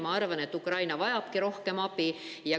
Ma arvan, et Ukraina vajabki rohkem abi.